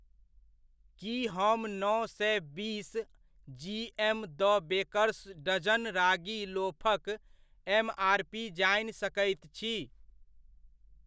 की हम नओ सए बीस G M the Baker's dozen ragi लोफक एमआरपी जानि सकैत छी ?